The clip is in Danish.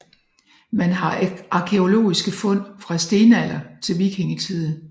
Man har arkæologiske fund fra stenalder til vikingetid